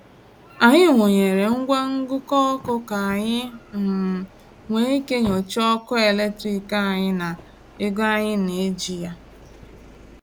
Anyị wụnyeere ngwa ngụkọ ọkụ ka anyị um nwee ike nyochaa ọkụ eletrik anyị na ego anyị na-eji ya.